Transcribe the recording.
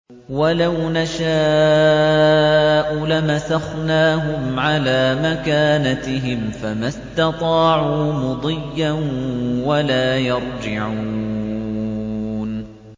وَلَوْ نَشَاءُ لَمَسَخْنَاهُمْ عَلَىٰ مَكَانَتِهِمْ فَمَا اسْتَطَاعُوا مُضِيًّا وَلَا يَرْجِعُونَ